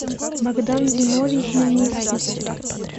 богдан зиновий хмельницкий